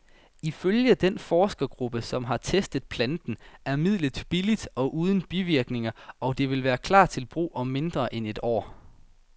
Ifølge den forskergruppe, som har testet planten, er midlet billigt og uden bivirkninger, og det vil klar til brug om mindre end et år.